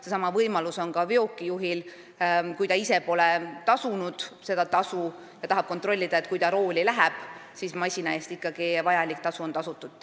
Seesama võimalus on ka veokijuhil, kes ise pole seda tasu maksnud ja tahab enne rooli minekut kontrollida, kas masina eest on ikkagi vajalik maks tasutud.